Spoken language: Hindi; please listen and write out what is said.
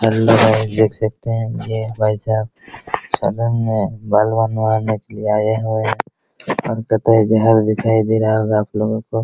देख सकते है ये भाई साहब आया है घर दिखाई दे रहा होगा आपलोगो को |